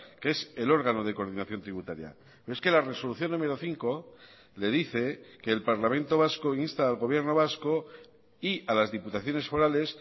que es el órgano de coordinación tributaria es que la resolución número cinco le dice que el parlamento vasco insta al gobierno vasco y a las diputaciones forales